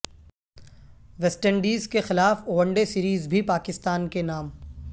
waste Indies کے خلاف one day series بھی پاکستان کے نام